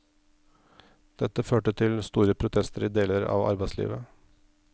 Dette førte til store protester i deler av arbeidslivet.